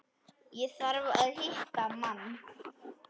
Ég þarf að hitta mann.